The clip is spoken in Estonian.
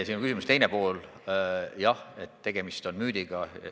Sinu küsimuse teine pool: jah, tegemist on müüdiga.